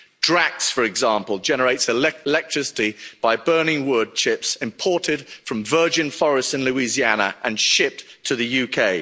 Drax, for example, generates electricity by burning wood chips imported from virgin forests in Louisiana and shipped to the UK.